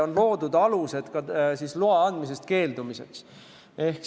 On loodud alused ka loa andmisest keeldumiseks.